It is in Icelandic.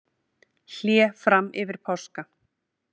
Hlé fram yfir páska